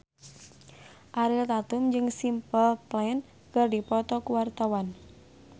Ariel Tatum jeung Simple Plan keur dipoto ku wartawan